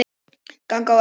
Ganga á eftir.